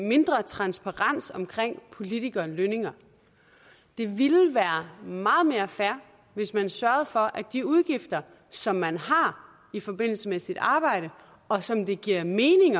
mindre transparens omkring politikere og lønninger det ville være meget mere fair hvis man sørgede for at de udgifter som man har i forbindelse med sit arbejde og som det giver mening